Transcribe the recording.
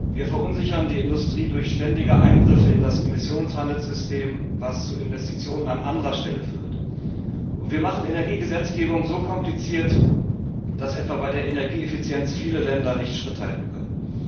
Wir verunsichern die Industrie durch ständige Eingriffe in das Emissionshandelssystem, was zu Investitionen an anderer Stelle führt. Wir machen Energiegesetzgebung so kompliziert, dass etwa bei der Energieeffizienz viele Länder nicht Schritt halten können.